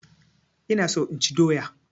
Ina so inchi doya